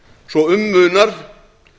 svo um munar